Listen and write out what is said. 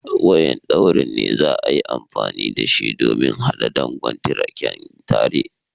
Wayan ɗaurin ne za'a yi amfani da shi domin hada dogon tirken tare.